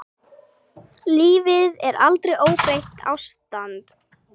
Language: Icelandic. Lífið er aldrei óbreytt ástand.